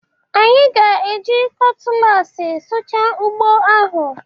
Anyị ga-eji kọtụlaasị sụchaa ugbo ahụ